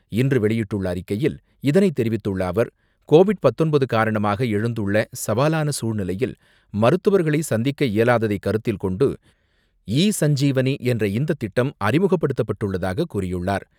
இன்று வெளியிட்டுள்ள அறிக்கையில் இதனைத் தெரிவித்துள்ள அவர், கோவிட் பத்தொன்பது காரணமாக எழுந்துள்ள சவாலான சூழ்நிலையில் மருத்துவர்களை சந்திக்க இயலாததை கருத்தில் கொண்டு, ஈ சஞ்சீவனி என்ற இந்த திட்ம் அறிமுக்கப்படுத்தப் பட்டுள்ளதாகக் கூறியுள்ளார்.